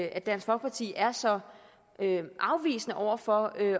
at dansk folkeparti er så afvisende over for at